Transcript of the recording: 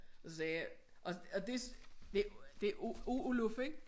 Og så sagde jeg og og det det det Oluf ik?